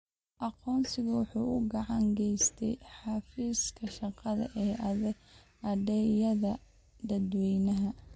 Aqoonsigu waxa uu gacan ka geystaa xafiiska shaqada ee adeegyada dadweynaha.